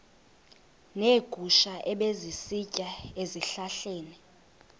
neegusha ebezisitya ezihlahleni